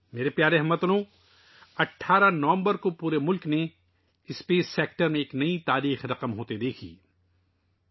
میرے پیارے ہم وطنو، 18 نومبر کو پورے ملک نے خلائی شعبے میں نئی تاریخ رقم ہونے کا مشاہدہ کیا